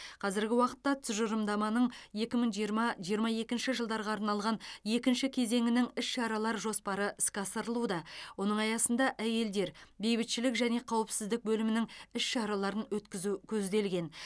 қазіргі уақытта тұжырымдаманың екі мың жиырма жиырма екінші жылдарға арналған екінші кезеңінің іс шаралар жоспары іске асырылуда оның аясында әйелдер бейбітшілік және қауіпсіздік бөлімінің іс шараларын өткізу көзделген